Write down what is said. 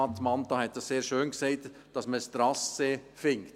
Mentha hat dies sehr schön gesagt: dass man ein Trassee findet.